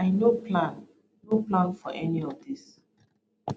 i no plan no plan for any of dis